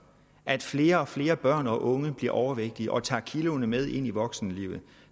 at flere og flere børn og unge bliver overvægtige og tager kiloene med ind i voksenlivet